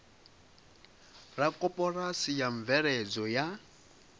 la koporasi la mveledzo ya